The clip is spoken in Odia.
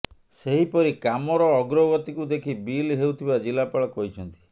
ସେହିପରି କାମର ଅଗ୍ରଗତିକୁ ଦେଖି ବିଲ୍ ହେଉଥିବା ଜିଲ୍ଲାପାଳ କହିଛନ୍ତି